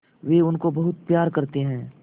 वे उनको बहुत प्यार करते हैं